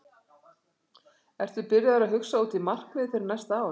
Ertu byrjaður að hugsa út í markmið fyrir næsta ár?